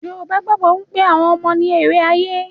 Yorùbá gbàgbọ́ pé àwọn ọmọ ni èrè ayé.